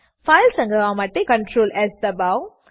file સંગ્રહવા માટે ctrls દબાવો